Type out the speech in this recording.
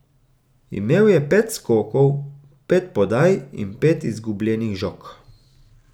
Imel je pet skokov, pet podaj in pet izgubljenih žog.